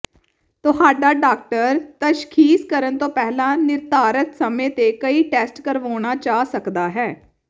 ਤੁਹਾਡਾ ਡਾਕਟਰ ਤਸ਼ਖ਼ੀਸ ਕਰਨ ਤੋਂ ਪਹਿਲਾਂ ਨਿਰਧਾਰਤ ਸਮੇਂ ਤੇ ਕਈ ਟੈਸਟ ਕਰਵਾਉਣਾ ਚਾਹ ਸਕਦਾ ਹੈ